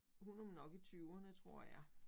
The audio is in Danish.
Hun er nok i tyverne tror jeg